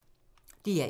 DR1